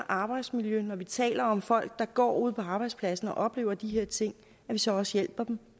arbejdsmiljø når vi taler om folk der går ude på arbejdspladserne og oplever de her ting så også hjælper dem